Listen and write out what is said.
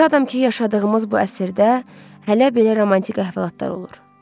Şadam ki, yaşadığımız bu əsrdə hələ belə romantik əhvalatlar olur.